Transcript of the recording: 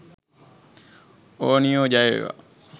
ඕනියෝ.ජයවේවා